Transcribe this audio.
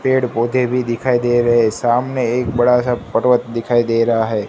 पेड़ पौधे भी दिखाई दे रे है सामने एक बड़ा सा पर्वत दिखाई दे रा है।